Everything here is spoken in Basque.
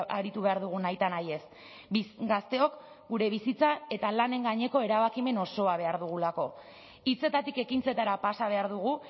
aritu behar dugu nahitanahiez gazteok gure bizitza eta lanen gaineko erabakimen osoa behar dugulako hitzetatik ekintzetara pasa behar dugu